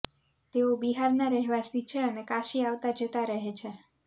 તેઓ બિહારના રહેવાસી છે અને કાશી આવતા જતાં રહે છે